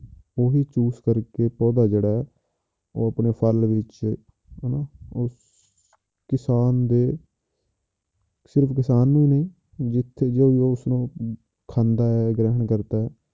ਉਹ ਵੀ ਚੂਸ ਕਰਕੇ ਪੌਦਾ ਜਿਹੜਾ ਹੈ ਉਹ ਆਪਣੇ ਫਲ ਵਿੱਚ ਹਨਾ ਉਸ ਕਿਸਾਨ ਦੇ ਸਿਰਫ਼ ਕਿਸਾਨ ਹੀ ਨਹੀਂ ਜਿੱਥੇ ਜੋ ਵੀ ਉਸਨੂੰ ਖਾਂਦਾ ਹੈ ਗ੍ਰਹਿਣ ਕਰਦਾ ਹੈ